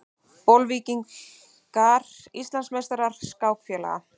Bolvíkingar Íslandsmeistarar skákfélaga